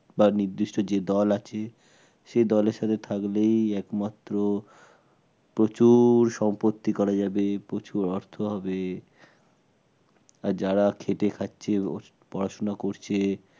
বা নির্দিষ্ট যেতে দল আছে সেই দলের সাথে থাকলেই একমাত্র প্রচুর সম্পত্তি করা যাবে প্রচুর অর্থ হবে আর যারা খেটে খাচ্ছে ও পড়াশোনা করছে